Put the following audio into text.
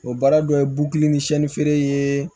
O baara dɔ ye bu kelen ni siyɛnni feere ye